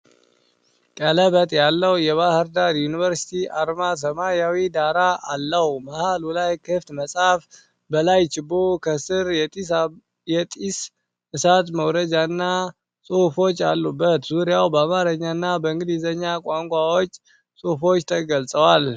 ቀለበት ያለው የባህር ዳር ዩኒቨርሲቲ አርማ ሰማያዊ ዳራ አለው። መሃሉ ላይ ክፍት መጽሐፍ፣ በላይ ችቦ፣ ከስር የጢስ እሳት መውረጃና ጽሑፎች አሉበት። ዙሪያው በአማርኛ እና በእንግሊዝኛ ቋንቋዎች ጽሑፎች ተገልጸዋል።